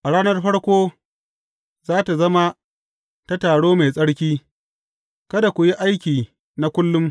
A ranar farko za tă zama ta taro mai tsarki, kada ku yi aiki na kullum.